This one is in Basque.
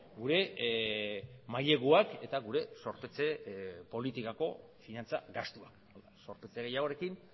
gure maileguak eta gure zorpetze politikako finantza gastua zorpetze gehiagorekin